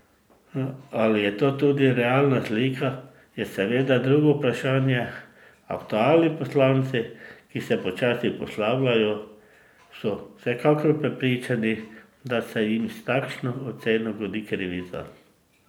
Ali je to tudi realna slika, je seveda drugo vprašanje, aktualni poslanci, ki se počasi poslavljajo, so vsekakor prepričani, da se jim s takšno oceno godi krivica.